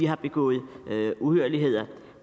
har begået uhyrligheder